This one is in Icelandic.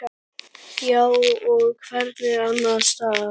Hér og hvergi annars staðar.